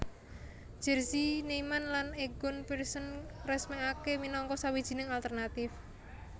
Jerzy Neyman lan Egon Pearson ngresmèkaké minangka sawijining alternatif